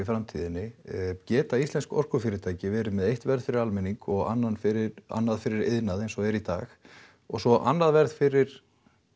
framtíðinni geta íslensk orkufyrirtæki verið með eitt verð fyrir almenning og annað fyrir annað fyrir iðnað eins og er í dag og svo annað verð fyrir